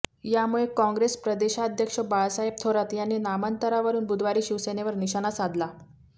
यामुळे काँग्रेस प्रदेशाध्यक्ष बाळासाहेब थोरात यांनी नामांतरावरून बुधवारी शिवसेनेवर निशाणा साधला